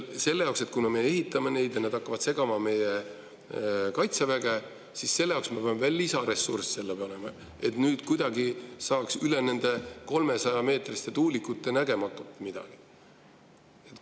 Ja kuna me neid ehitame ja nad hakkavad segama meie Kaitseväge, siis me peame veel lisaressursse sinna panema, et kuidagi saaks üle nende 300-meetriste tuulikute midagi näha.